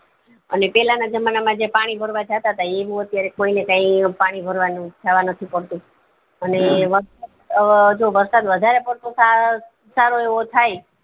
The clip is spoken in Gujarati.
અને પેલા ના જમાના માં જે પાણી ભરવા જતા હતા એવું અત્યારે કોઈને કઈ પાણી ભરવા જવા નથી પડતું અને અ જો વરસાદ વધારે પડતો સારો સારો એવો થાય